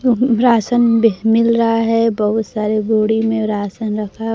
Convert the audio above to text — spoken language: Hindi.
राशन मिल रहा है बहुत सारे बोडो में राशन रखा--